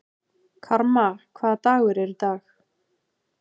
Karma, hvaða dagur er í dag?